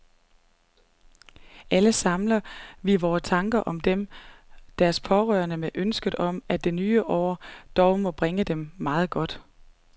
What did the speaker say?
Alle samler vi vore tanker om dem og deres pårørende med ønsket om, at det nye år dog må bringe dem meget godt.